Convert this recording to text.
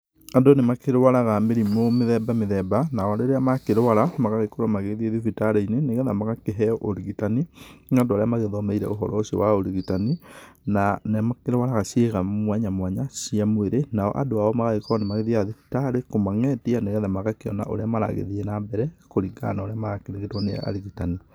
Andũ nĩmakĩrũaraga mĩrimũ mĩthemba mĩthemba. Nao rĩrĩa makĩrũara magagĩkorwo magĩthiĩ thibitarĩ-inĩ nĩgetha magakĩheo ũrigitani nĩ andũ arĩa magĩthomeire ũhoro ũcio wa ũrigitani. Na nĩ makĩruaraga ciĩga mwanya mwanya cĩa mwĩrĩ nao andũ ao magagĩkorwo nĩ mathiaga thibitarĩ kũmang’etia nĩgetha magakĩona ũrĩa maragĩthiĩ na mbere kũringana na ũrĩa marakĩrigitwo nĩ arigitani.